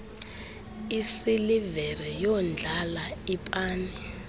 isilivere yondlala ipani